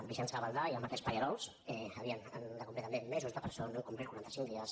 vicenç gavaldà i el mateix palle·rols havien de complir també mesos de presó no n’han complert quaranta cinc dies